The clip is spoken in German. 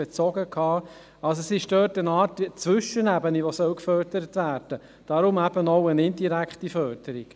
Es ist also eine Art Zwischenebene, die gefördert werden soll, daher eben auch eine indirekte Förderung.